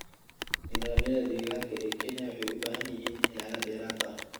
Nidaamyada deegaanka ee Kenya waxay u baahan yihiin ilaalin dheeraad ah.